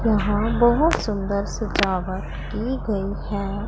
यहां बहोत सुंदर सजावट की गई है।